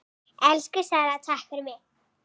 Elsku Svala, takk fyrir mig.